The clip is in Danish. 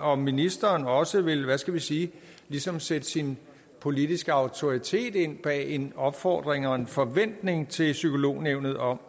om ministeren også vil hvad skal vi sige ligesom sætte sin politiske autoritet ind bag en opfordring og en forventning til psykolognævnet om